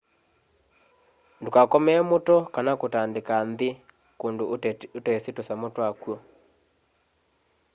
ndukakomee muto kana kutandika nthi kundu utesi tusamu twa kwo